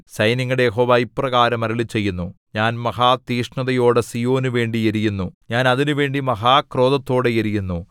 സൈന്യങ്ങളുടെ യഹോവ ഇപ്രകാരം അരുളിച്ചെയ്യുന്നു ഞാൻ മഹാതീക്ഷ്ണതയോടെ സീയോനുവേണ്ടി എരിയുന്നു ഞാൻ അതിനുവേണ്ടി മഹാക്രോധത്തോടെ എരിയുന്നു